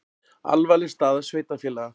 Alvarleg staða sveitarfélaga